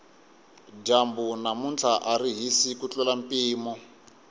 dyambu namuntlha ari hisi ku tlurisa mpimo